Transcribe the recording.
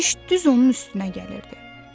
Kişi düz onun üstünə gəlirdi.